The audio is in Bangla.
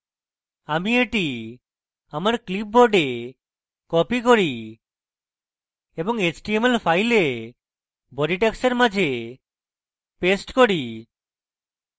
আমি এটি আমার clipboard copy করি এবং html file body tags মাঝে paste করি